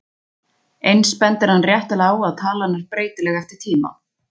Eins bendir hann réttilega á að talan er breytileg eftir tíma.